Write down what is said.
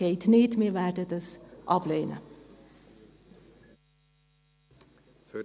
Das geht nicht, wir werden sie ablehnen.